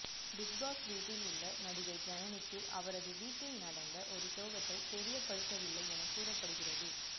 Bigg Boss வீட்டில் உள்ள நடிகை ஜனனிக்கு அவரது வீட்டில் நடத்த ஒரு சோகத்தை தெரியப்படுத்தவில்லை என கூறப்படுகிறது